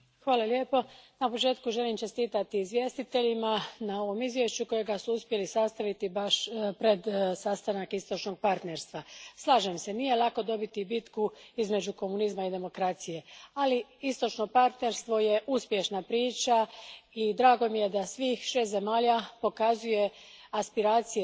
Gospodine predsjedniče, na početku želim čestitati izvjestiteljima na ovom izvješću, koje su uspjeli sastaviti baš pred sastanak Istočnog partnerstva. Slažem se, nije lako dobiti bitku između komunizma i demokracije, ali Istočno partnerstvo je uspješna priča i drago mi je da svih šest zemalja pokazuje europske aspiracije